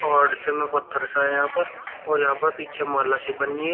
और में पत्थर सा है यहां पर और यहां पर पीछे माला सी बनी --